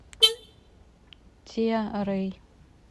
тиа рэй